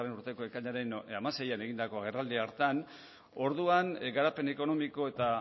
urteko ekainaren hamaseian egindako agerraldi hartan orduan garapen ekonomiko eta